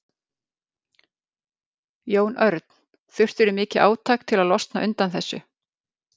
Jón Örn: Þurftirðu mikið átak til að losna undan þessu?